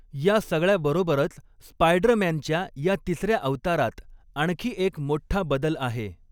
या सगळ्याबरोबरच स्पायडरमॅनच्या या तिसऱ्या अवतारात आणखी एक मोठ्ठा बदल आहे.